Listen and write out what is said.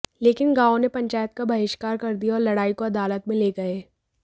लेकिन गांव ने पंचायत का बहिष्कार कर दिया और लड़ाई को अदालत में ले गए